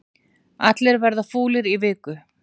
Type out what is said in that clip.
Allir verða fúlir í viku